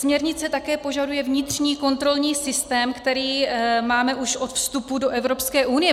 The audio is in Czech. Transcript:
Směrnice také požaduje vnitřní kontrolní systém, který máme už od vstupu do Evropské unie.